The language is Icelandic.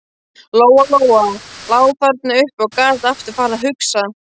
Lóa-Lóa lá þarna uppi og gat aftur farið að hugsa.